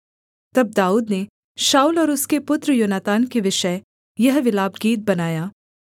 तब दाऊद ने शाऊल और उसके पुत्र योनातान के विषय यह विलापगीत बनाया